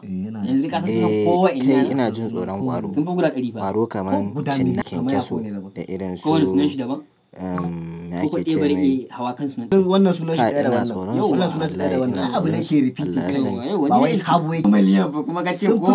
Eh kai ina jin tsoron ƙwaro. Ƙwaro kamar cinna kyankyaso da irin su umm ya akece mai. Kai ina tsoron su wallahi ina tsoronsu. Allah ya sani.